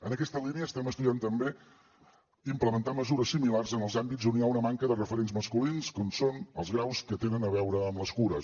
en aquesta línia estem estudiant també implementar mesures similars en els àmbits on hi ha una manca de referents masculins com són els graus que tenen a veure amb les cures